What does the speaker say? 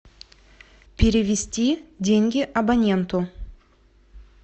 перевести деньги абоненту